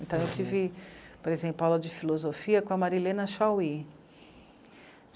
Então, eu tive, por exemplo, aula de filosofia com a Marilena chaui.